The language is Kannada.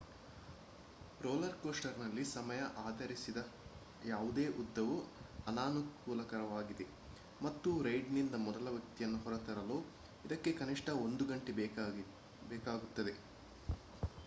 ರೋಲರ್ ಕೋಸ್ಟರ್‌ನಲ್ಲಿ ಸಮಯ ಆಧರಿಸಿದ ಯಾವುದೇ ಉದ್ದವೂ ಅನಾನುಕೂಲಕರವಾಗಿದೆ ಮತ್ತು ರೈಡ್‌ನಿಂದ ಮೊದಲ ವ್ಯಕ್ತಿಯನ್ನು ಹೊರತರಲು ಇದಕ್ಕೆ ಕನಿಷ್ಠ ಒಂದು ಗಂಟೆ ಬೇಕಾಗುತ್ತದೆ